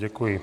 Děkuji.